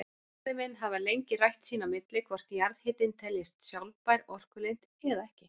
Fræðimenn hafa lengi rætt sín á milli hvort jarðhitinn teljist sjálfbær orkulind eða ekki.